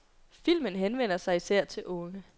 Filmen henvender sig især til de unge.